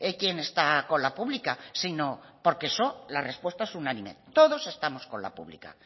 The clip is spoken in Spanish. quién está con la pública sino porque eso la respuesta es unánime todos estamos con la pública